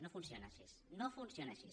no funciona així no funciona així